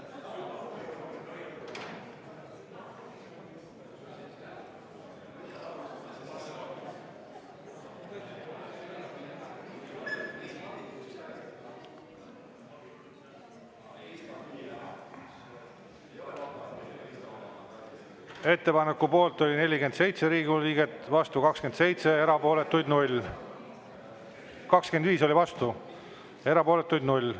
Ettepaneku poolt oli 47 Riigikogu liiget, vastu 25, erapooletuid 0.